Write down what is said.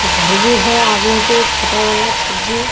एक घर भी है आगे में छोटा वाला छज्जी --